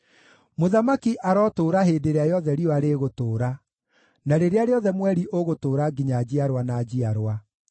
Mũthamaki arotũũra hĩndĩ ĩrĩa yothe riũa rĩgũtũũra, na rĩrĩa rĩothe mweri ũgũtũũra nginya njiarwa na njiarwa.